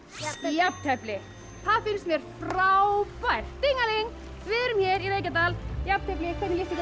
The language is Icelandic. jafntefli það finnst mér frábært við erum hér í Reykjadal jafntefli hvernig líst ykkur